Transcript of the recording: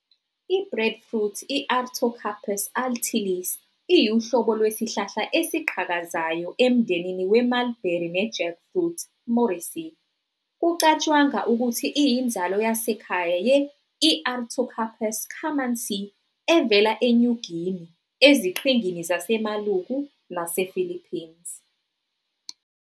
I-Breadfruit, I-Artocarpus altilis, iyuhlobo Iwesihlahla esiqhakazayo emndenini we-mulberry ne jackfruit, Moraceae, kucatshangwa ukuthi iyinzalo yasekhaya ye-"I-Artocarpus camansi" evela eNew Guinea, eziqhingini zaseMaluku, nasePhilippines.